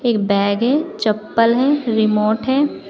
एक बैग है चप्पल है रिमोट है।